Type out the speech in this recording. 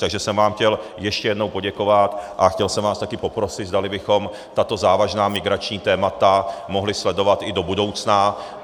Takže jsem vám chtěl ještě jednou poděkovat a chtěl jsem vás taky poprosit, zdali bychom tato závažná migrační témata mohli sledovat i do budoucna.